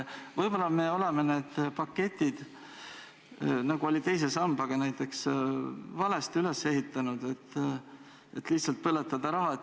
Võib-olla me oleme need paketid, nagu oli teise sambaga näiteks, valesti üles ehitanud, et nad lihtsalt põletavad raha.